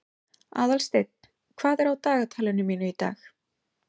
Aðalsteinn, hvað er á dagatalinu mínu í dag?